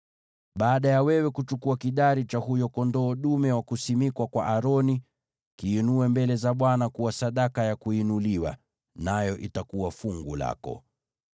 Baada ya kuchukua kidari cha huyo kondoo dume wa kuwekwa wakfu kwa Aroni, kiinue mbele za Bwana kuwa sadaka ya kuinuliwa, nayo itakuwa fungu lako.